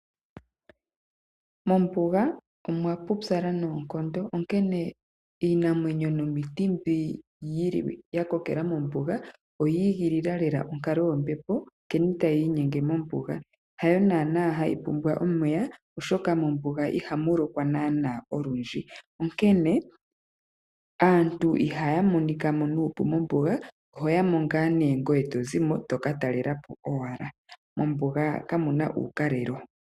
Mombuga omwa pupyala noonkondo, onkene iinamwenyo nomiti mbyoka ya kokela mombuga oyi igilila lela onkaloyombepo nkene tayi inyenge mombuga. Hayo naanaa hayi pumbwa omeya, oshoka mombuga ihamu lokwa naanaa olundji, onkene aantu ihaya monika mo nuupu mombuga. Oho ya mo owala ngoye to zi mo to ka talela po owala. Mombuga kamu na uukalelo.